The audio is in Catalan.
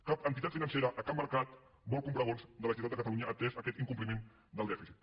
cap entitat financera a cap mercat vol comprar bons de la generalitat de catalunya atès aquest incompliment del dèficit